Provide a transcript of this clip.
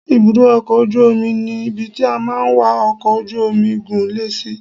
Ibùdó ọkọ̀ ojú omi ni ibi tí a máa ń wa ọkọ̀ ojú omi gún lè sí.